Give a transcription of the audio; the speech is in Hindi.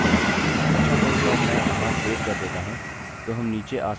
अच्छा तो एक बार मैं यहाँ सेव कर देता हूँ तो हम नीचे आ सकते हैं और इसे यहाँ देख सकते हैं